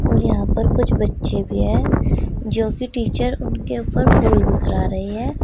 और यहां पर कुछ बच्चे भी हैं जो की टीचर उनके ऊपर फूल बिखरा रही है।